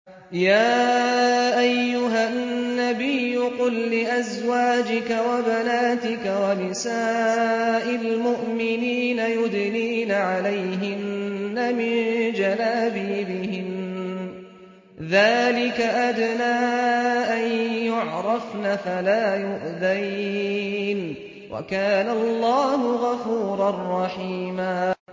يَا أَيُّهَا النَّبِيُّ قُل لِّأَزْوَاجِكَ وَبَنَاتِكَ وَنِسَاءِ الْمُؤْمِنِينَ يُدْنِينَ عَلَيْهِنَّ مِن جَلَابِيبِهِنَّ ۚ ذَٰلِكَ أَدْنَىٰ أَن يُعْرَفْنَ فَلَا يُؤْذَيْنَ ۗ وَكَانَ اللَّهُ غَفُورًا رَّحِيمًا